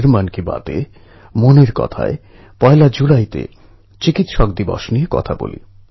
আপনাদের আমি এটাই বলবো যে বে ক্যালম এনজয় লাইফ জীবনের আনন্দ পুরোপুরি উপভোগ করুন